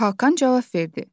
Hakan cavab verdi: